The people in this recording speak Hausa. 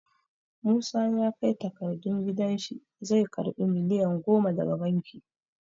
Musa ya kai takardun gidan shi zai karɓi miliyan goma daga banki.